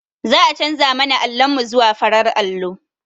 Za'a canza mana allon mu zuwa farar allo.